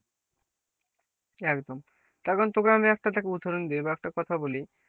একদম তার কারণ তোকে আমি একটা দেখ উদাহরণ দিই বা একটা কথা বলি,